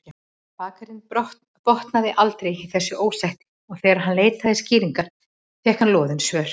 Bakarinn botnaði aldrei í þessu ósætti og þegar hann leitaði skýringa fékk hann loðin svör.